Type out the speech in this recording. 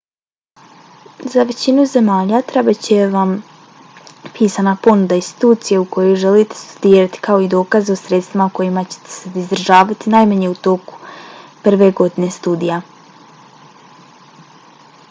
za većinu zemalja trebat će van pisana ponuda institucije u kojoj želite studirati kao i dokaz o sredstvima kojima ćete se izdržavati najmanje u toku prve godine studija